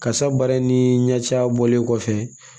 Kasa baara in ni ɲɛciya bɔlen kɔfɛ